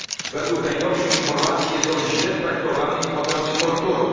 Według najnowszych informacji jest on źle traktowany i poddawany torturom.